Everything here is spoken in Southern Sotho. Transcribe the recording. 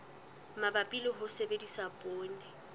mabapi le ho sebedisa poone